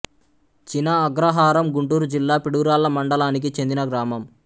చిన అగ్రహారం గుంటూరు జిల్లా పిడుగురాళ్ల మండలానికి చెందిన గ్రామం